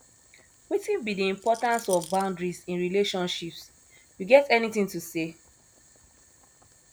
wetin be di importance of boundaries in relationships you get anything to say